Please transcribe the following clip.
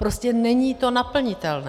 Prostě není to naplnitelné.